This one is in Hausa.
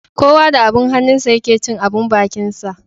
Kowa da abin hannunsa ya ke cin abin bakinsa.